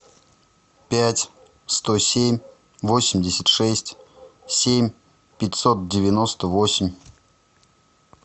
пять сто семь восемьдесят шесть семь пятьсот девяносто восемь